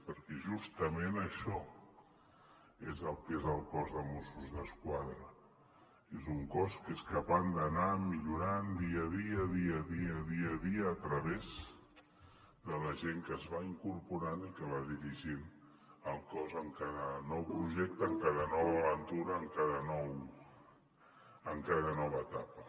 perquè justament això és el que és el cos de mossos d’esquadra és un cos que és capaç d’anar millorant dia a dia dia a dia dia a dia a través de la gent que es va incorporant i que va dirigint el cos en cada nou projecte en cada nova aventura en cada nova etapa